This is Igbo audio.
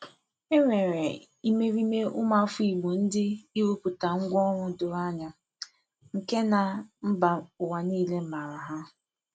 E nwere imerime ụmụafọ Igbo ndị ịrụpụta ngwanro doro anya, nke na mba ụwa niile maara ha.